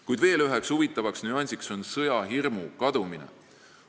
Kuid veel üks huvitav nüanss on sõjahirmu kadumine.